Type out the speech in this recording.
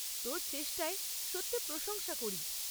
তোর চেষ্টার সত্যি প্রশংসা করি।